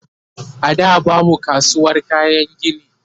a da babu kasuwar kayan gini